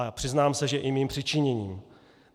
A přiznám se, že i mým přičiněním.